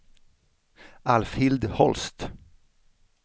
Alfhild Holst